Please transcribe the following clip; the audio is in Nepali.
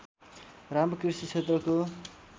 राम्रो कृषि क्षेत्रको